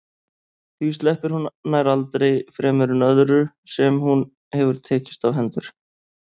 Því sleppir hún nær aldrei fremur en öðru sem hún hefur tekist á hendur.